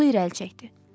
Stulu irəli çəkdi.